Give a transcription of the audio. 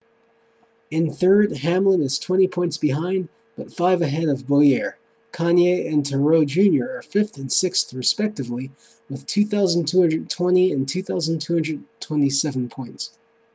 in third hamlin is twenty points behind but five ahead of bowyer kahne and truex jr are fifth and sixth respectively with 2,220 and 2,207 points